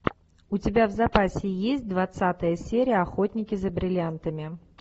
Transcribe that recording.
у тебя в запасе есть двадцатая серия охотники за бриллиантами